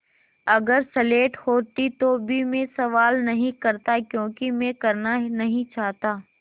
अगर स्लेट होती तो भी मैं सवाल नहीं करता क्योंकि मैं करना नहीं चाहता